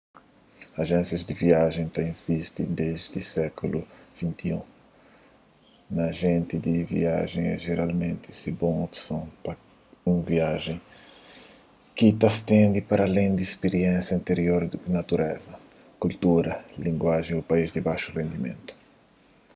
ajénsias di viajen ta izisti desdi sékulu xix un ajenti di viajen é jeralmenti un bon opson pa un viajen ki ta stende paralén di spiriénsia antirior ku natureza kultura língua ô país di baxu rendimentu